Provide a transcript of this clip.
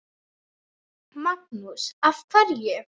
Magnús: Af hverju?